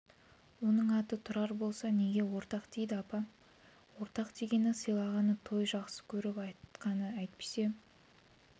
оның аты тұрар болса неге ортақ дейді апа ортақ дегені сыйлағаны той жақсы көріп айтқаны әйтпесе